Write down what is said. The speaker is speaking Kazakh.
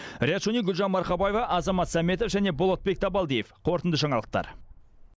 риат шони гүлжан марқабаева азамат сәметов және болатбек табалдиев қорытынды жаңалықтар